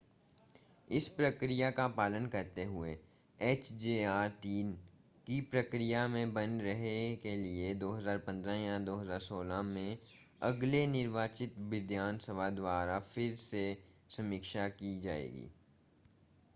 इस प्रक्रिया का पालन करते हुए hjr-3 की प्रक्रिया में बने रहने के लिए 2015 या 2016 में अगले निर्वाचित विधानसभा द्वारा फिर से समीक्षा की जाएगी